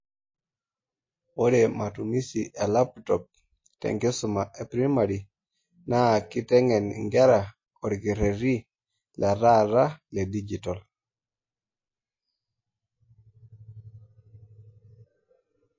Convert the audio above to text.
Ore matumisi elaptop te nkisuma e primari naa keiteng'en nkera orkeretii letaata ledigital